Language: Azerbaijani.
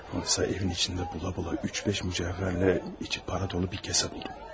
Oysa evin içində bula-bula üç-beş mücəvhərlə içi para dolu bir kəsə buldum.